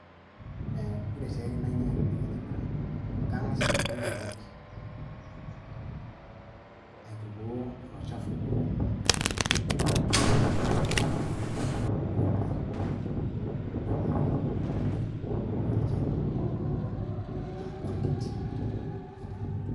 Ee ore siaitin ainei etedekenya naa kangas aituku nkonyek. Aitukuoo ilo chafu pooki le kewarie, oreenkae naa kaik ilala tolchani le colgate